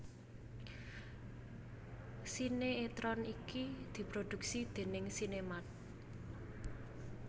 Sinéetron iki diproduksi déning SinemArt